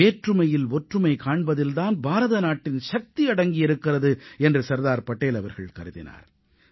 வேற்றுமையில் ஒற்றுமை காண்பதில் தான் பாரத நாட்டின் சக்தி அடங்கியிருக்கிறது என்று சர்தார் படேல் அவர்கள் கருதினார்